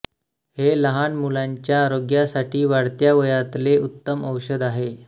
हे लहान मुलांच्या आरोग्यासाठी वाढत्या वयातले उत्तम औषध आहे